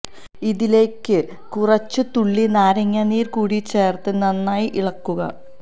ഇതിലേക്ക് കുറച്ച് തുള്ളി നാരങ്ങ നീര് കൂടി ചേർത്ത് നന്നായി ഇളക്കുക